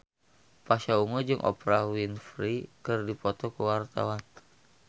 Pasha Ungu jeung Oprah Winfrey keur dipoto ku wartawan